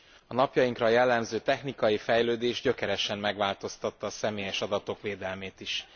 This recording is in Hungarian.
A napjainkra jellemző technikai fejlődés gyökeresen megváltoztatta a személyes adatok védelmét is.